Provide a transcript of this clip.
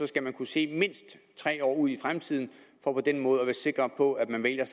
skal man kunne se mindst tre år ud i fremtiden for på den måde at være sikker på at man vælger